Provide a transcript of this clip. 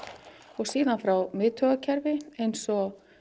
og síðan frá miðtaugakerfi eins og